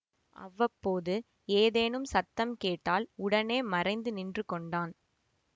அவ்வப்போது ஏதேனும் சத்தம் கேட்டால் உடனே மறைந்து நின்று கொண்டான்